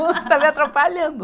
Você está me atrapalhando.